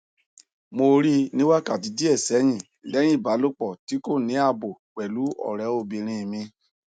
mo ri ni wakati die sehin lehin ibalopo ti ko ni abo pelu ore obinrin mi